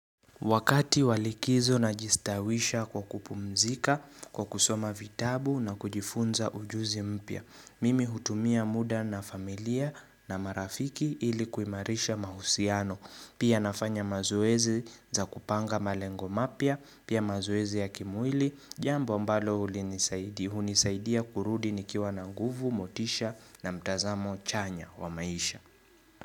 Wakati wa likizo najistawisha kwa kupumzika, kwa kusoma vitabu na kujifunza ujuzi mpya, mimi hutumia muda na familia na marafiki ili kuimarisha mahusiano, pia nafanya mazoezi za kupanga malengo mapya, pia mazoezi ya kimwili, jambo ambalo huli nisaidi, hunisaidia kurudi nikiwa na nguvu, motisha na mtazamo chanya wa maisha.